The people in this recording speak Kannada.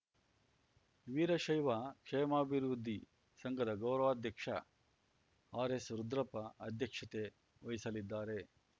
ವೀರಶೈವ ಕ್ಷೇಮಾಭಿವೃದ್ಧಿ ಸಂಘಧ ಗೌರವಾಧ್ಯಕ್ಷ ಆರ್ಎಸ್‌ರುದ್ರಪ್ಪ ಅಧ್ಯಕ್ಷತೆ ವಹಿಸಲಿದ್ದಾರೆ